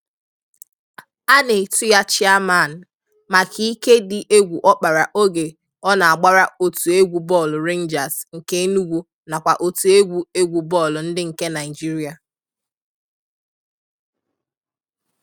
A nà-etu ya 'Chairman' maka ìké dị egwu ọ kpara oge ọ na-agbara otu egwu bọọlụ Rangers nke Enùgwù nakwa otu egwu egwu bọọlụ ndị nke Naịjírịa.